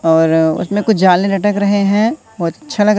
और उसमें कुछ जाले लटक रहें हैं बहोत अच्छा लगा--